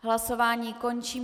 Hlasování končím.